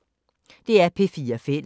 DR P4 Fælles